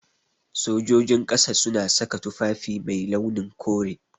Sojojin ƙasa suna saka tufafi mai launin kore.